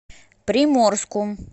приморску